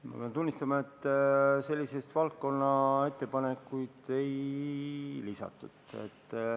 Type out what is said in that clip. Ma pean tunnistama, et selliseid valdkonnaettepanekuid ei lisatud.